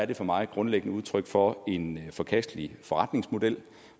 det for mig et grundlæggende udtryk for en forkastelig forretningsmodel